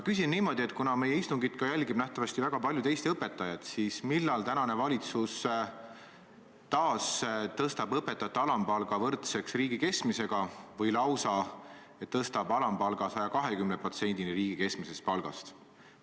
Kuna meie istungit jälgivad nähtavasti väga paljud Eesti õpetajad, siis ma küsin niimoodi: millal tänane valitsus taas tõstab õpetajate alampalga võrdseks riigi keskmisega või lausa tõstab alampalga 120%-ni riigi keskmisest palgast?